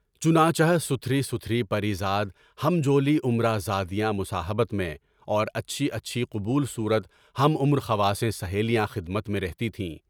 چنانچہ ستھری ستھری پری زاد ہم جولی عمر ازادیان مصاحبت میں، اور اچھی اچھی قبول صورت ہم عمر خواصیں سہیلیاں خدمت میں رہتی تھیں۔